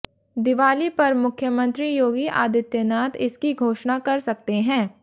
दिवाली पर मुख्यमंत्री योगी आदित्यनाथ इसकी घोषणा कर सकते हैं